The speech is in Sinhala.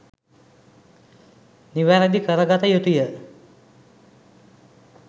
නිවැරැදි කරගත යුතුය.